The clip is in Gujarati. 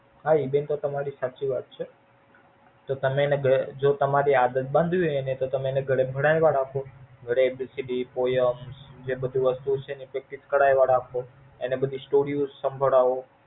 હા એ બેન તો તમારી સાચી વાત છે. જો તમે એને બે તમારે એને આદત બાંધવી હોઈ તમે એને ઘરે ભણાવ્યા રાખો ઘરે A B C D, Poem જે બધું વસ્તુ છે એની Practice કરવા રાખો એને બધી Story સાંભળવા રાખો.